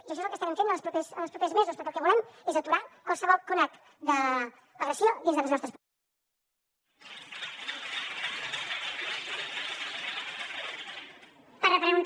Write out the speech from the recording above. i això és el que estarem fent en els propers mesos perquè el que volem és aturar qualsevol conat d’agressió dins de les nostres presons